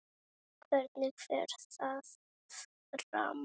Hvernig fer það fram?